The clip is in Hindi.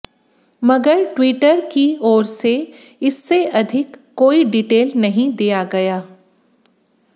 मगर ट्विटर की ओर से इससे अधिक कोई डिटेल नहीं दिया गया